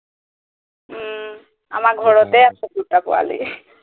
উম আমাৰ ঘৰতে আছে দুটা পোৱালী